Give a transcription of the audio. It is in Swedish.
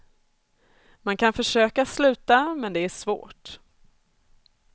Man kan försöka sluta, men det är svårt.